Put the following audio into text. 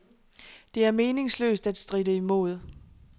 Det er meningsløst at stritte imod.